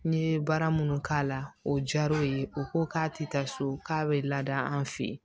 N ye baara minnu k'a la o diyar'o ye u ko k'a tɛ taa so k'a bɛ laada an fɛ yen